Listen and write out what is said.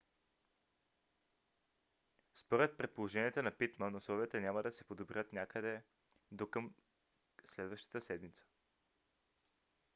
според предположенията на питман условията няма да се подобрят някъде до към следващата седмица